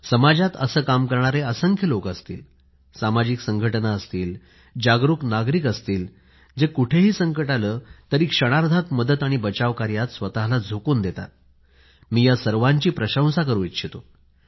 समाजात असं काम करणारे असंख्य लोक असतीलसामाजिक संघटना असतील जागरूक नागरिक असतील जे कुठेही संकट आले तरी क्षणात मदत आणि बचाव कार्यात स्वतःला झोकून देतात मी या सर्वांची प्रशंसा करू इच्छितो